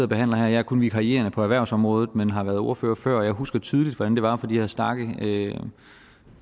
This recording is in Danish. behandler her jeg er kun vikarierende på erhvervsområdet men har været ordførere før og jeg husker tydeligt hvordan det var at få de her stakke